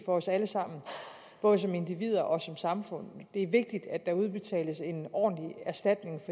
for os alle sammen både som individer og som samfund det er vigtigt at der udbetales en ordentlig erstatning